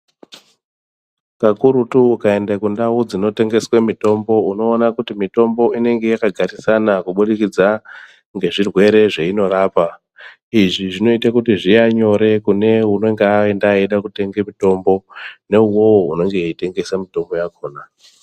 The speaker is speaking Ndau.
Kakurutu ukaende kundau dzinotengeswe mitombo unoona kuti mitombo inenga yakagarisana kuburikidza ngezvirwere zveinorapa. Izvi zvinoite kuti zviya nyore kune unenge aenda eida kutenge mitombo neuwowo unenge eitengesa mutombo yakona.